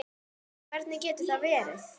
Nei, hvernig getur það verið?